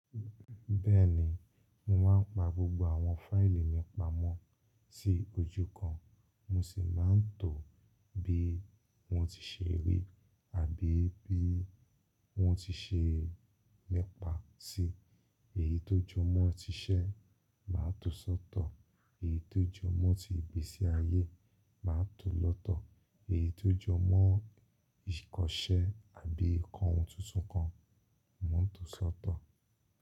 Bẹ́ẹ̀ni, mo máa ń pa gbogbo àwọn fáílì mi pamọ́ sí ojú kan. Mo sì máa ń tọ̀ bí wọ́n ti ṣe rí àbí bí wọ́n ti ṣe nipa sí. Èyí tó jọ mọ́ ti iṣẹ́, màá tọ̀ sọ́tọ̀. Èyí tó jọ mọ́ ti ìgbésí ayé, màá tọ̀ lọ́tọ̀. Èyí tó jọ mọ́ ìkọṣẹ́ àbí ǹkan ohun tuntun kan, mo ń tọ̀ dọ́tọ̀.